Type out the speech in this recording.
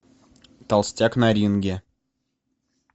толстяк на ринге